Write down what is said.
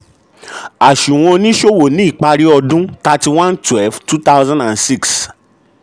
àsùwò oníṣòwò ni ipari ọdún thirty one twelve two thousand and six